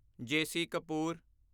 JC. Kapoor